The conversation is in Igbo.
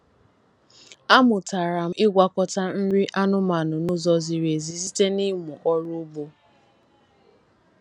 Amụtara m ịgwakọta nri anụmanụ n'ụzọ ziri ezi site na ịmụ ọrụ ugbo.